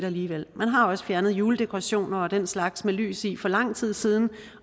alligevel man har også fjernet juledekorationer og den slags med lys i for lang tid siden